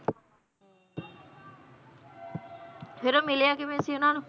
ਫਿਰ ਉਹ ਮਿਲਿਆ ਕਿਵੇਂ ਸੀ ਉਹਨਾਂ ਨੂੰ?